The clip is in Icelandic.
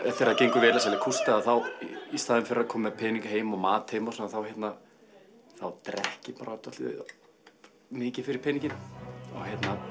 þegar gengur vel að selja kústa í staðinn fyrir að koma með peninga heim og mat þá drekk ég bara dálítið mikið fyrir peninginn og